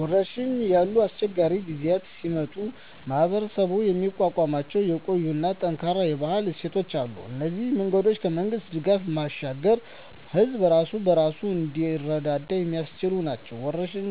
ወረርሽኝ ያሉ አስቸጋሪ ጊዜያት ሲመጡ ማኅበረሰቡ የሚቋቋምባቸው የቆዩና ጠንካራ የባህል እሴቶች አሉ። እነዚህ መንገዶች ከመንግሥት ድጋፍ ባሻገር ሕዝቡ ራሱን በራሱ እንዲረዳ የሚያስችሉ ናቸው። ወረርሽኝ